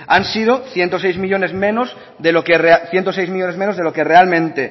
han sido ciento seis millónes menos de lo que realmente